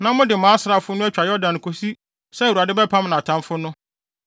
na mode mo asraafo no atwa Yordan kosi sɛ Awurade bɛpam nʼatamfo no,